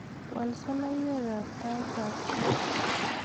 Wal soloiwet ab taitab kot